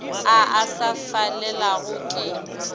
a a sa felelago ke